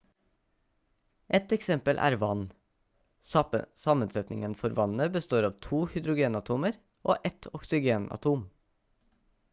et eksempel er vann sammensetningen for vannet består av to hydrogenatomer og ett oksygenatom